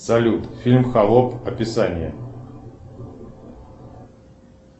салют фильм холоп описание